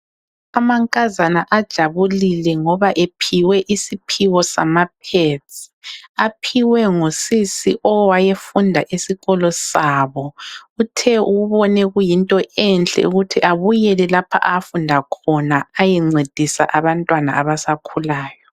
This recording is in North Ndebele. Amankazana ajabulile ngoba ephiwe isiphiwo sama pads. Aphiwe ngusisi owayefunda esikolo sabo. Uthe ubone kuyinto enhle ukuthi abuyele lapho afunda khona ayencedisa abantwana abasakhulayo.